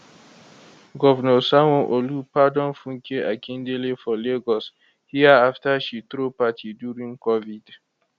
govnor sanwo olu pardon funke akindele for lagos hia afta she throw party during covid